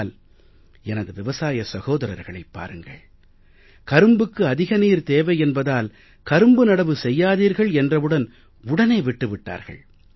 ஆனால் எனது விவசாய சகோதரர்களைப் பாருங்கள் கரும்புக்கு அதிக நீர் தேவை என்பதால் கரும்பு நடவு செய்யாதீர்கள் என்றவுடன் உடனே விட்டு விட்டார்கள்